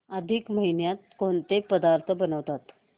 अधिक महिन्यात कोणते पदार्थ बनवतात